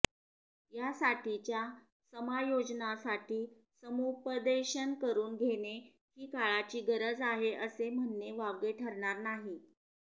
या साठीच्या समायोजनासाठी समुपदेशन करून घेणे हि काळाची गरज आहे असे म्हणने वावगे ठरणार नाही